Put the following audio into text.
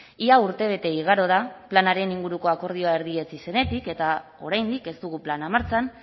ia urtebete igaro da planaren inguruko akordioa erdietsi zenetik eta oraindik ez dugu plana martxan